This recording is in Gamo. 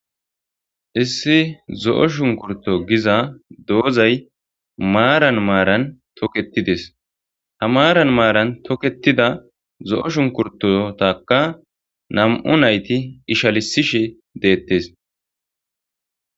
issi zo'o shunkurto giza doozay maaran maaran toketides ha maaran maaran toketida zo'o shunkurtotaka nam'u nayti ishalisishi deettes